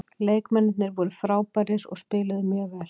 Leikmennirnir voru frábærir og spiluðu mjög vel.